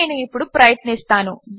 అది నేను ఇప్పుడు ప్రయత్నిస్తాను